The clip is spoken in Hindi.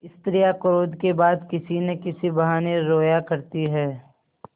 स्त्रियॉँ क्रोध के बाद किसी न किसी बहाने रोया करती हैं